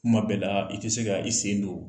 Kuma bɛɛ laa, i ti se ka i sen don